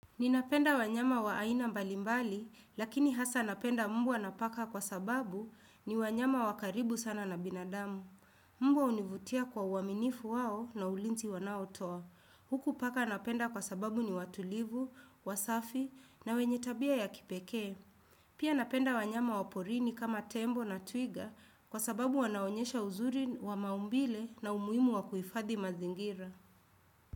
Ninapenda wanyama wa aina mbalimbali, lakini hasa napenda mbwa na paka kwa sababu ni wanyama wa karibu sana na binadamu. Mbwa hunivutia kwa uaminifu wao na ulinzi wanaotoa. Huku paka napenda kwa sababu ni watulivu, wasafi na wenye tabia ya kipekee. Pia napenda wanyama wa porini kama tembo na twiga kwa sababu wanaonyesha uzuri wa maumbile na umuhimu wa kuhifadhi mazingira.